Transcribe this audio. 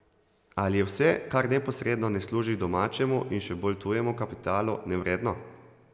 Ali je vse, kar neposredno ne služi domačemu in še bolj tujemu kapitalu, nevredno?